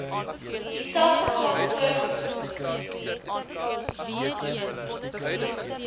dieselfde graad voorgekom